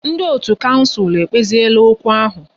Ndị otu kouncil ekpeziela okwu ahu